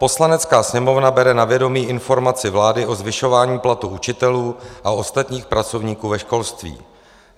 Poslanecká sněmovna bere na vědomí informaci vlády o zvyšování platu učitelů a ostatních pracovníků ve školství;